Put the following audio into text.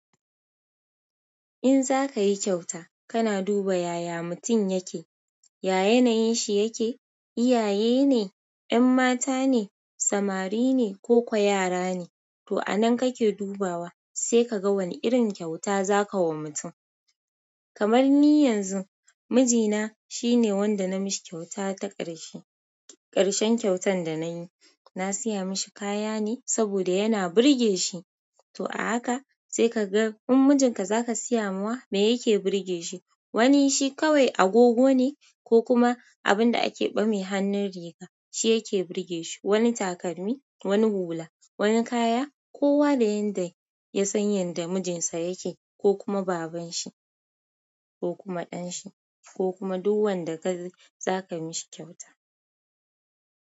In za ka yi kyauta, kana duba yaya mutum yake, ya yanayin shi yake, iyaye ne, 'yan mata ne, samari ne koko yara ne. To a nan kake dubawa, sai ka ga wani irin kyauta za ka wa mutum. Kamar ni yanzu, mijina shine wanda na mishi kyauta ta ƙarshe. Ƙarshen kyautan da na yi, na saya mishi kaya ne saboda yana burge shi. To a haka sai ka ga in mijinka za ka sayawa ma me yake burge shi. Wani shi kawai agogo ne ko kuma abun da ake ɓame hannun riga shi yake burge shi. Wani takalmi, wani hula, wani kaya, ko wa da yanda ya san yanda mijinsa yake ko kuma babanshi ko kuma danshi ko kuma duk wanda kai zaka mishi kyauta.